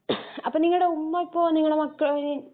അപ്പൊ നിങ്ങടെ ഉമ്മക്ക് ഇപ്പൊ നിങ്ങടെ മക്ക